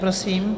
Prosím.